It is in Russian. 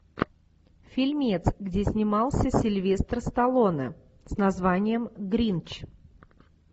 фильмец где снимался сильвестр сталлоне с названием гринч